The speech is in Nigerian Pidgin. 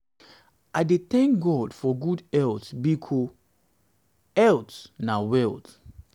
i dey tank god for gud health bikos health health bikos health na wealth